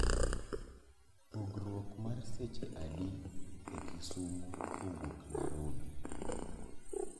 Pogruok mar seche adi e kisumo kowuok narobi